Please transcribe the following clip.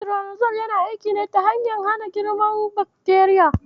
Metironidazol yana aiki ta hanyar hana girman bakteriya.